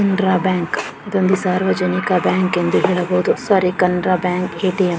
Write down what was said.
Canara bank ಇದೊಂದು ಸಾರ್ವಜನಿಕ bank ಎಂದು ಹೇಳಬಹುದು. Sorry Canara bank ATM.